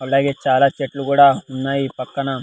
అలాగే చాలా చెట్లు కూడా ఉన్నాయి పక్కన.